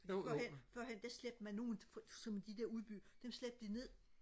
førhen førhen der slæbte man nogen som de der udeby dem slæbte de ned